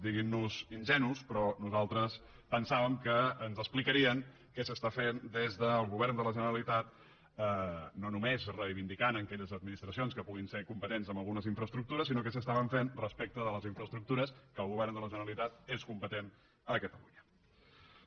diguin nos ingenus però nosaltres pensàvem que ens explicarien què s’està fent des del govern de la generalitat no només reivindicant aquelles administracions que puguin ser competents amb algunes infraestructures sinó què s’estava fent respecte de les infraestructures que el govern de la generalitat és competent a catalunya